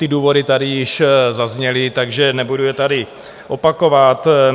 Ty důvody tady již zazněly, takže nebudu je tady opakovat.